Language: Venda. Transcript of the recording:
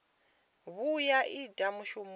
vhuya vha ita mushumo u